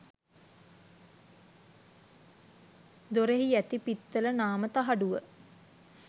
දොරෙහි ඇති පිත්තල නාම තහඩුව